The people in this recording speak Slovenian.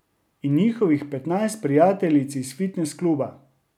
In njihovih petnajst prijateljic iz fitnes kluba.